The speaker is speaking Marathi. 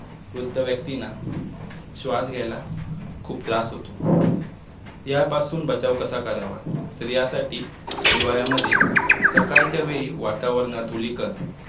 वृद्ध व्यक्तींना श्वास घ्यायला खुप त्रास होतो यापासून बचाव कसा करावा तर यासाठी हिवाळ्यामध्ये सकाळच्या वेळी वातावरणात धुलीकण